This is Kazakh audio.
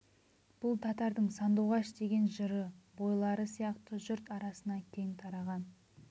бұл татардың сандуғаш деген жыры бойлары сияқты жұрт арасына кең тараған